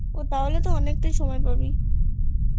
ওহ তাহলে তো অনেকটা সময় পাবি